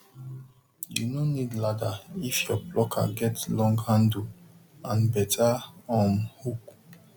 you no need ladder if your plucker get long handle and better um hook